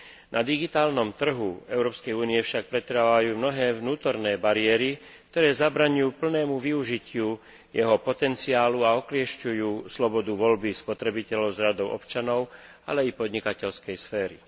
Na digitálnom trhu Európskej únie však pretrvávajú mnohé vnútorné bariéry, ktoré zabraňujú plnému využitiu jeho potenciálu a okliešťujú slobodu voľby spotrebiteľov z radov občanov, ale i podnikateľskej sféry.